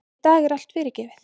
Í dag er allt fyrirgefið.